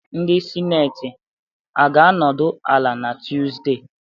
Ndị Sineti ga-anọdụ ala na Tuzdee?